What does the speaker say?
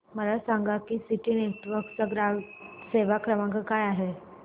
मला सांगा की सिटी नेटवर्क्स चा ग्राहक सेवा क्रमांक काय आहे